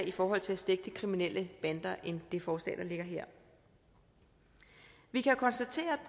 i forhold til at stække de kriminelle bander end det forslag der ligger her vi kan konstatere